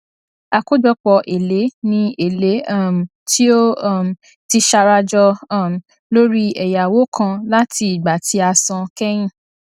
àkójọpọ èlé ni èlé um tí ó um ti sarajọ um lórí ẹyáwó kan láti ìgbà tí a san kẹyìn